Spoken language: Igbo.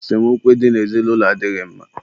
esemokwu ị dị n'ezinụlọ adịghị mma